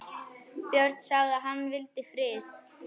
Björn sagði að hann vildi frið.